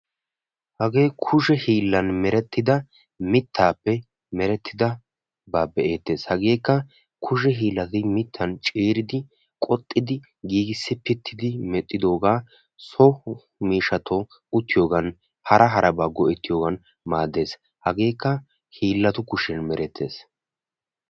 Hagee kushe hiillan merettida mittaappe merettidabaa be'eettes. Hageekka kushe hiillati mittaappe ciiri giigissi pittidi medhdhidooga so miishshatun uttiyogan hara harabawu go'ettiyogan maaddes. Hageekka hiillatu kushiyan merettes.